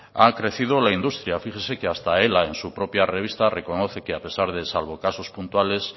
ha crecido la industria fíjese que hasta ela en su propia revista reconoce que a pesar de salvo casos puntuales